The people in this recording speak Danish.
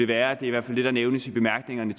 det er i hvert fald det der nævnes i bemærkningerne